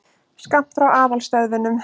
Skammt frá aðalstöðvunum.